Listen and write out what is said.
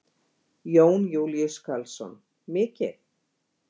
Jón Júlíus Karlsson: Mikið?